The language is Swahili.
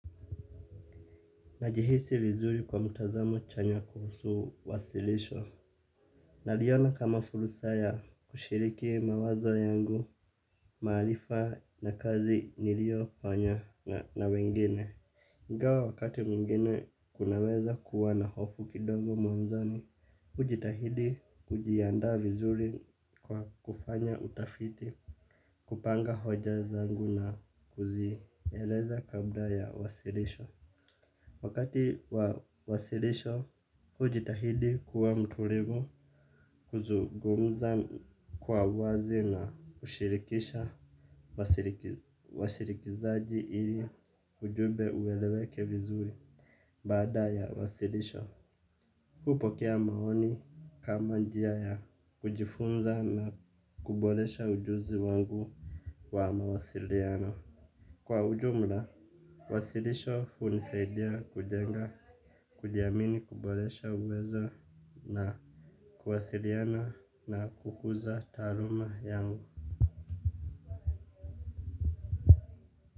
Najihisi vizuri kwa mtazamo chanya kuhusu wasilisho. Naliona kama fursa ya kushiriki mawazo yangu, maarifa na kazi niliyofanya na wengine. Ingawa wakati mwingine kunaweza kuwa na hofu kidogo mwanzoni, hujitahidi kujiandaa vizuri kwa kufanya utafiti, kupanga hoja zangu na kuzieleza kabla ya wasilisho. Wakati wa wasilisho, hujitahidi kuwa mtulivu, kuzungumza kwa uwazi na kushirikisha wasikilizaji ili ujumbe ueleweke vizuri, baada ya wasilisho. Hupokea maoni kama njia ya kujifunza na kuboresha ujuzi wangu wa mawasiliano. Kwa ujumla, wasilisho hunisaidia kujenga kujiamini, kuboresha uweza na kuwasiliana na kukuza taaluma yangu.